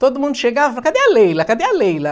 Todo mundo chegava e falava, cadê a Leila, cadê a Leila?